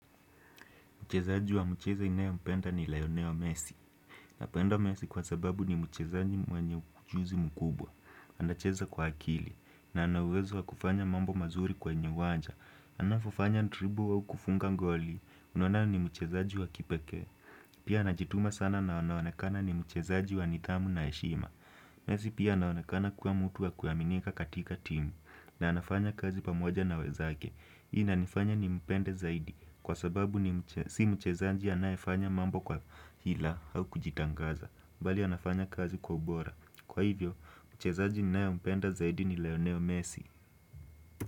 Mchezaji wa mcheze inayompenda ni lionel messi. Napenda messi kwa sababu ni mchezaji mwenye ujuzi mkubwa. Ana cheza kwa akili. Na anauwezo wa kufanya mambo mazuri kwenye uwanja. Anavofanya dribble au kufunga ngoli. Unaona ni mchezaji wa kipekee. Pia anajituma sana na anaowonekana ni mchezaji wa nithamu na heshima. Messi pia anaonekana kuwa mtu wa kuaminika katika timu. Na anafanya kazi pamoja na wenzake. Hii inanifanya nimpende zaidi. Kwa sababu ni si mchezanji anayefanya mambo kwa hila au kujitangaza mbali anafanya kazi kwa ubora Kwa hivyo, mchezanji ninayempenda zaidi ni Lionel Messi.